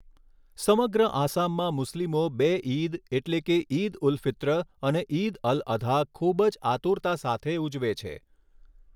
સમગ્ર આસામમાં મુસ્લિમો બે ઈદ એટલે કે ઈદ ઉલ ફિત્ર અને ઈદ અલ અધા, ખૂબ જ આતુરતા સાથે ઉજવે છે.